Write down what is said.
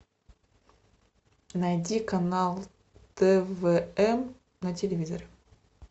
найди канал твн на телевизоре